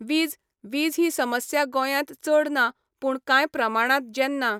वीज, वीज ही समस्या गोंयांत चड ना पूण काय प्रमाणांत जेन्ना